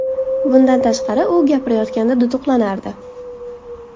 Bundan tashqari, u gapirayotganda duduqlanardi.